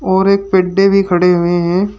और एक भी खड़े हुए हैं।